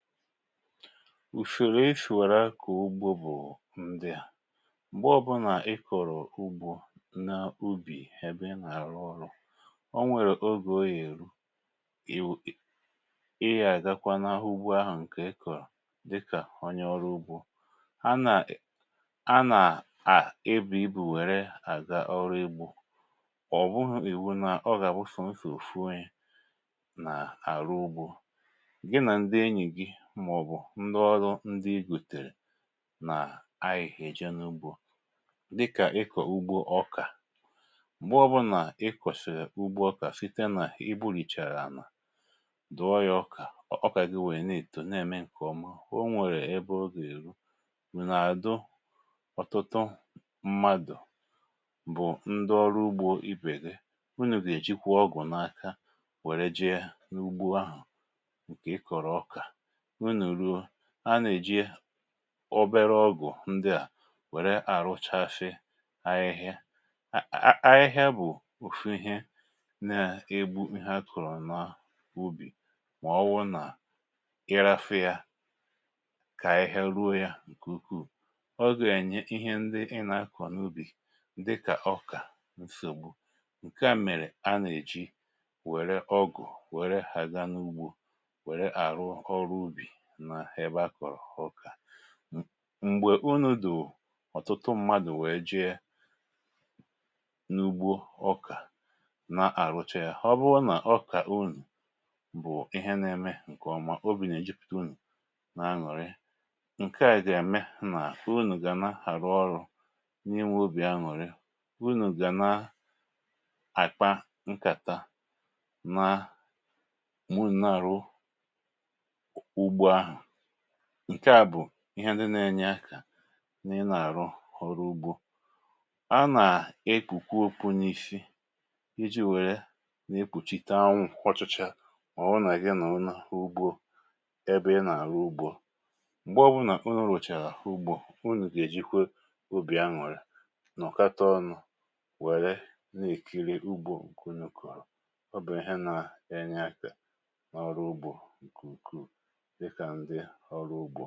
Usoro esì wèrè na-akụ̀ ugbȯ bụ̀ ndịà; m̀gbọ ọ̀bụnà ikọ̀rọ̀ ugbȯ na ubì ebe na-àrụ ọrụ̇, o nwèrè ogè o yà èru ịwụ̇ ịyȧ àgakwa n'ugbȯ ahụ̀ ǹkè ịkọ̀rọ̀ dịkà onye ọrụ ugbȯ, a nà a nà-à ebu ibu̇ wère àga ọrụ ugbȯ, ọ̀ bụghị̇ ìwu nà ọ gà-àbụ sò so ofu onye nà àrụ ugbȯ, gị na ndị enyi gị màọ̀bụ̀ ndị ọrụ ndị igùtèrè nà-ayi eji̇ n’ugbȯ dịkà ịkọ̀ ugbo ọkà, m̀gbe ọbụnà ịkọ̀sị̀ri ugbo ọkà site nà i gbulichàrà ànà dụ̀ọ ya ọkà ọkà gị nwèrè n’èto na-ème ǹkè ọma o nwèrè ebe ogè èru, unu àdụ ọ̀tụtụ mmadụ̀ bụ̀ ndị ọrụ ugbȯ ibe gị, ụnụ̀ gà-èjikwa ọgwụ̀ n’aka wère jee yȧ n’ugbo ahụ̀ ǹkè ị kọ̀rọ̀ ọkà, unu rụọ anà-èji obere ọgụ̀ ndị à wère àrụchasi ahịhịa, a ahịhịa bụ̀ ùfu ihė nà-egbu ịhė akọrọ n’ubì mà ọwụ̀ na irafịȧ kà ahịhịa ruo yȧ ǹkè ukwuù, ọgȧ ènye ihe ndị ị nà-akọ̀ n’ubì dịkà ọkà nsògbu, ǹke à mèrè a nà-èji wère ọgụ̀ wère ha ga n’ugbo were arụ ọrụ ubi n'ebe akọrọ ọka. m̀gbè unù dù ọ̀tụtụ mmadụ̀ wee jee n’ugbo ọkà na-àrụcha ya, ọbụrụ nà ọkà unù bụ̀ ihe na-eme ǹkè ọma, obì nà-èjipụta unù na-anụ̀rị, ǹke à ga mee nà unù gà na-àrụ ọrụ̇ n’inwe obì anwụ̀rị, unù gà na-àkpa nkàtà na ma unu na-arụ ụgbọ ahụ, ǹke à bụ̀ ihe ndị na-enye akȧ na-arụ oru ọrụ ugbȯ, a nà ekpukwe okpu̇ n’isi iji̇ wère na-ekpùchita anwụ̀ ọchichaa ma ọ̀wụ nà gị nọrọ n'ugbo ebe ị nà-àrụ ugbȯ m̀gbe ọbụnà unụ̇ rụ̀chàrà ugbȯ ụnu gà-èjikwe obì aṅụ̀rị̀ nọ̀kata ọnụ̇ wère na-èkiri ugbȯ ǹkè unu kọ̀rọ̀, ọ bụ̀ ihe nȧ-enye akȧ n’ọrụ ugbȯ nke ukwuu dịka ndia ọrụ..